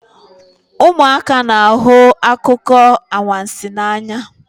Ụmụaka na-ahụ akụkọ anwansi n'anya